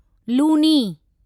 Luni